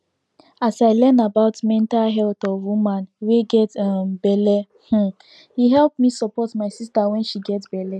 as i learn about mental health of woman wey get um belle um e help me support my sister wen she get belle